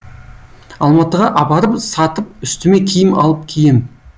алматыға апарып сатып үстіме киім алып кием